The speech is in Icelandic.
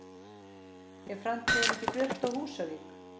Er framtíðin ekki björt á Húsavík?